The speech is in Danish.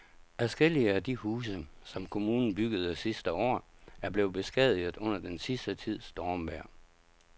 Adskillige af de huse, som kommunen byggede sidste år, er blevet beskadiget under den sidste tids stormvejr.